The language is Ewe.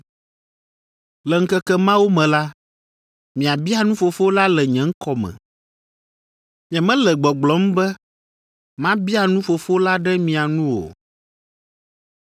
Le ŋkeke mawo me la, miabia nu Fofo la le nye ŋkɔ me. Nyemele gbɔgblɔm be mabia nu Fofo la ɖe mia nu o.